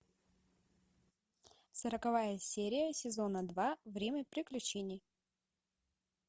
сороковая серия сезона два время приключений